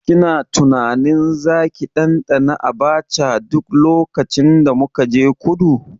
Kina tunanin zaki ɗanɗana Abacha duk lokacin da muka je kudu?